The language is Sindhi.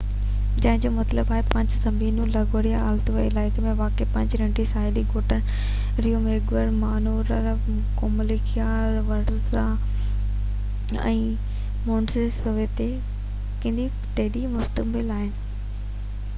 cinque terre جنهن جو مطلب آهي پنج زمينون لگوريا جي اطالوي علائقي ۾ واقع پنج ننڍن ساحلي ڳوٺن Riomaggiore Manarola Corniglia Vernazza ۽ Monterosso تي مشتمل آهي